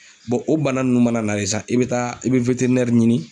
o bana nunnu mana na de sa, i be taa i be ɲini